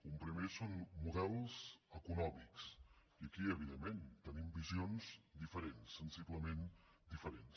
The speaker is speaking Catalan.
un primer són models econòmics i aquí evidentment tenim visions diferents sensiblement diferents